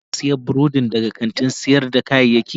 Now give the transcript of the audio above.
Shin ka sayi burodin daga kantin sayar da kayayyaki?